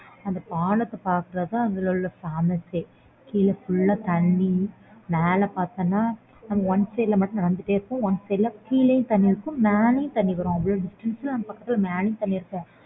அந்த பாலத்தை பாக்குறது தான் அதுல famous ஏ கீழே full லா தண்ணீர் மேலே பார்த்தான்னா நம்ம one side ல மட்டும் நடந்துட்டே இருப்போம் one side ல கீழயும் தண்ணீர் இருக்கும் மேலயும் தண்ணீர் வரும் அவளோ மேலயும் தண்ணீர் இருக்கும்